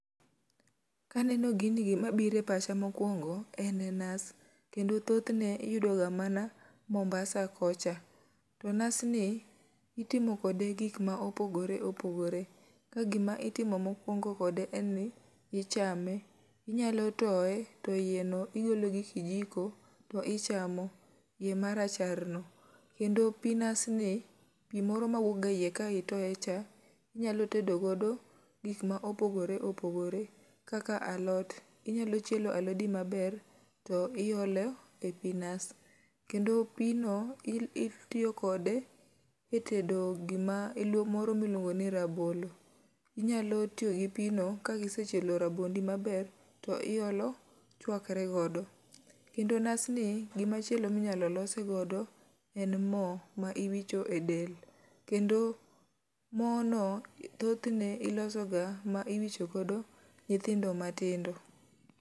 Kaneno gini gimabire pacha mokwongo en nas, kendo thothne iyudoga mana Mombasa kocha. To nas ni, itimo kode gik ma opogore opogore, ka gima itimo mokwongo kode en ni ichame. Inyalo toye to iye no igolo gi kijiko, to ichamo, iye marachar no. Kendo pi nas ni, pi moro mawuok ga e iye ka itoye cha, inyalo tedo go gik ma opogore opogore kaka alot. Inyalo chielo alodi maber, to iolo e pi nas. Kendo pi no o itiyo kode e tedo gima moro miluongo ni rabolo. Inyalo tiyo gi pi no, ka gi sechielo rabondi maber, to iolo chwakre godo. Gima chielo minyalo los godo en mo ma iwicho e del, kendo mo no thoth ne iloso ga ma iwicho godo nyithindo ma tindo.